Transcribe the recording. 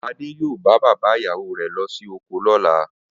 Adé yóò bá bàbá ìyàwó re̩ lo̩ sí oko ló̩la